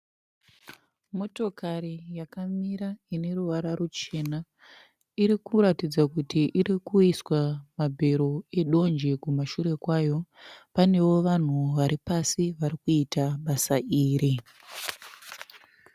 Motokari yakamira ine ruvara ruchena. Iri kuratidza kuti iri kuiswa mabhero edonje kumashure kwayo. Panewo vanhu vari pasi varikuita basa iri.